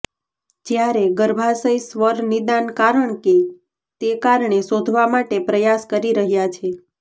જ્યારે ગર્ભાશય સ્વર નિદાન કારણ કે તે કારણે શોધવા માટે પ્રયાસ કરી રહ્યા છે